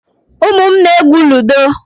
Ụmụ m na-egwú ludo.